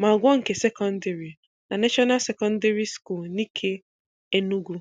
ma gụọ nke sekọndịrị na National Secondary School Nike, Enugu.